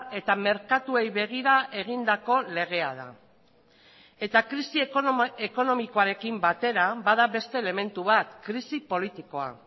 eta merkatuei begira egindako legea da eta krisi ekonomikoarekin batera bada beste elementu bat krisi politikoa